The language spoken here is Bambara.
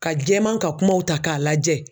Ka jɛman ka kumaw ta k'a lajɛ